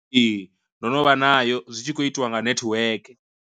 Ee, ndo no vha nayo zwitshi khou itiwa nga nethiweke.